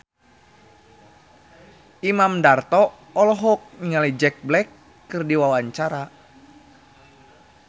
Imam Darto olohok ningali Jack Black keur diwawancara